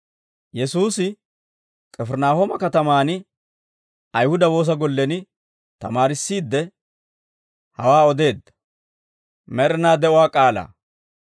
Yesuusi K'ifirinaahooma katamaan Ayihuda woosa gollen tamaarissiidde, hawaa odeedda.